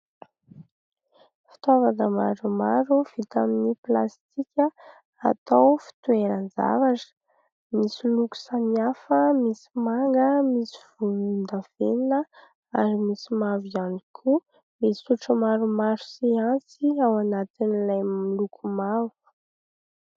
Fitaovana maromaro vita amin'ny plastika atao fitoeran-javatra, misy loko samihafa : misy manga, misy volondavenona ary misy mavo ihany koa. Misy sotro maromaro sy antsy ao anatin'ilay miloko mavo.